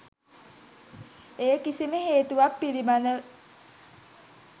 ඒ කිසිම හේතුවක් පිළිබඳ